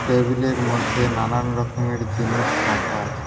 টেবিলের মধ্যে নানান রকমের জিনিস রাখা আছে।